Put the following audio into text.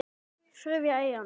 Þriðja eyðan.